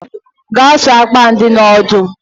Gaa sụọ akpụ ahụ dị n'odo!